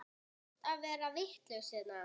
Allt að verða vitlaust hérna?